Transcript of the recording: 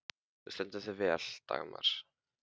Þú stendur þig vel, Dagmar!